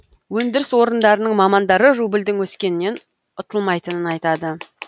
өндіріс орындарының мамандары рубльдің өскенінен ұтылмайтынын айтады